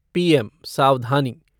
PM सावधानी